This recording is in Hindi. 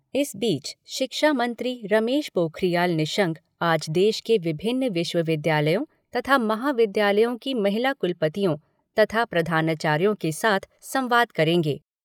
इस बीच शिक्षा मंत्री रमेश पोखरियाल निशंक आज देश के विभिन्न विश्वविद्यालयों तथा महाविद्यालयों की महिला कुलपतियों तथा प्रधानाचार्यों के साथ संवाद करेंगे।